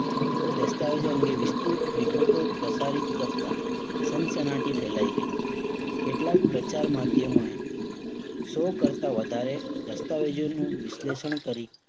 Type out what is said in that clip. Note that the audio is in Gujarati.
દસ્તાવેજો અંગે વિસ્તૃત વિગતો પ્રસારિત કરતા સનસનાટી ફેલાઈ ગઈ. કેટલાક પ્રચાર માધ્યમોએ સો કરતા વધારે દસ્તાવેજોનું વિશ્લેષણ કરી